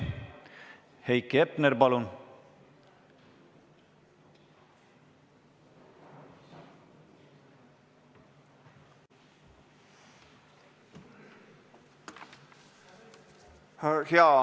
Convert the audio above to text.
Heiki Hepner, palun!